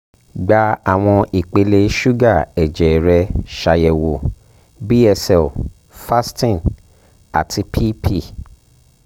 gba awọn ipele suga ẹjẹ rẹ ṣayẹwo (bsl fasting & pp)